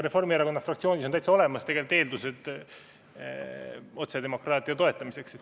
Reformierakonna fraktsioonis on täitsa olemas mõned eeldused otsedemokraatia toetamiseks.